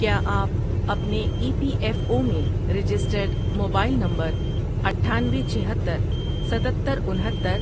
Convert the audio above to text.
کیا آپ اپنے ای پی ایف او میں رجسٹرڈ موبائل نمبراٹھانوے، چھہتر، ستتر، انہتر،